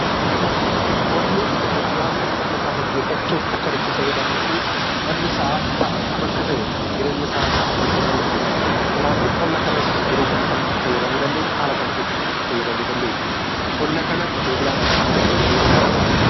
Qonni qotee bulaan qonna isaa gaggeeffachuuf kan itti fayyadamuu fi akkam akka ta'e jireenya isaa kan ittiin gaggeeffatudha. Kanaafuu qonna kanas yeroo kam kam itti fayyadamuu dandeenya? Haala kam keessatti itti fayyadamuu dandeenya? Qonni Kun qotee bulaadhaaf maal fayyaduu danda'a?